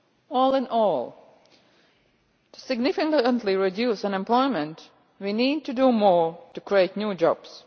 All in all, to significantly reduce unemployment, we need to do more to create new